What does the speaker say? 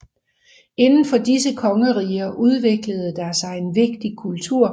Indenfor disse kongeriger udviklede der sig en vigtig kultur